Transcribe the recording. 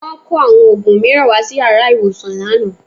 Wọ́n kó àwọn òògùn mìíràn wá sí yàrá ìwòsàn lánàá